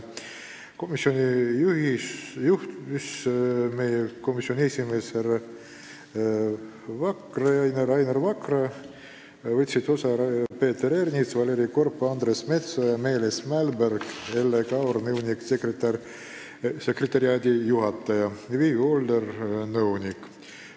Istungit juhatas meie komisjoni esimees härra Rainer Vakra, veel võtsid sellest osa Peeter Ernits, Valeri Korb, Andres Metsoja, Meelis Mälberg, Elle Kaur, nõunik-sekretariaadijuhataja, ja Vivi Older, nõunik.